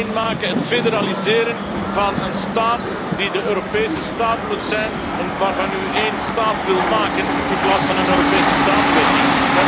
Het één maken, het federaliseren van een staat die de Europese staat moet zijn en waarvan u één staat wil maken in plaats van een Europese samenwerking.